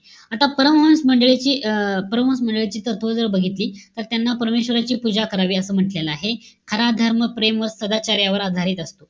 आता परमहंस मंडळी अं परमहंस मंडळीची तत्त्व जर बघितली, तर त्यांना परमेश्वराची पूजा करावी असं म्हण्टलेलं आहे. खरा धर्म प्रेम व सदाचार्यावर आधारित असतो.